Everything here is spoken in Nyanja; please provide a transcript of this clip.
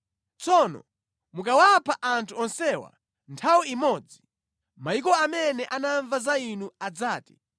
Tsono mukawapha anthu onsewa nthawi imodzi, mayiko amene anamva za Inu adzati,